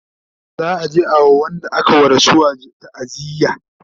za'a je a wa Wanda aka wa rasuwa taaziya